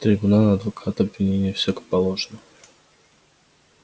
трибунал адвокат обвинение всё как положено